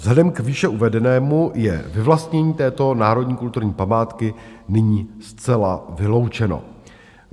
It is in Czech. Vzhledem k výše uvedenému je vyvlastnění této národní kulturní památky nyní zcela vyloučeno.